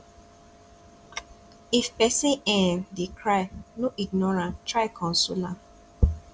if pesin um dey cry no ignore am try console am